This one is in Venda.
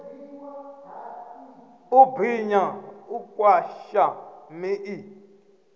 u binya u pwasha miḓi